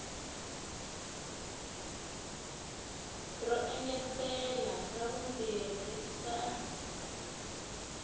ro engetela ra vumbirhi sal